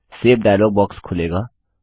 save dialog box खुलेगा